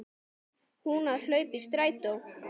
Hún að hlaupa í strætó.